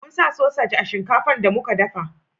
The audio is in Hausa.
mun sa sosaj a shinkafa shinkafan da muka dafa